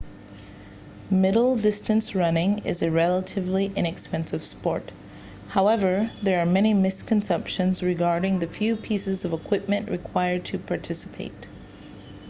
middle distance running is a relatively inexpensive sport however there are many misconceptions regarding the few pieces of equipment required to participate